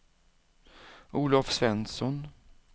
Olov Svensson